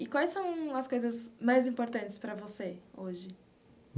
E quais são as coisas mais importantes para você hoje?